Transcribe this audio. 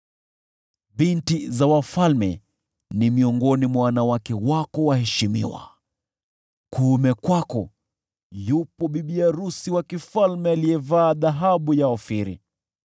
Binti za wafalme ni miongoni mwa wanawake wako waheshimiwa; kuume kwako yupo bibi arusi malkia aliyevaa dhahabu ya Ofiri.